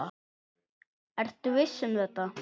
Ertu viss um þetta?